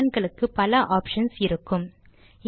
சில கமாண்ட் களுக்கு பல ஆப்ஷன்ஸ் இருக்கும்